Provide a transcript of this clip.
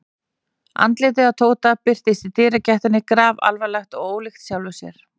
Andlitið á Tóta birtist í dyragættinni grafalvarlegt og ólíkt sjálfu sér.